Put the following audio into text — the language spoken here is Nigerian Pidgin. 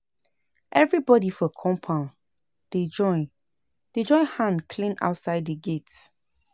Everybodi for compound dey join dey join hand clean outside di gate.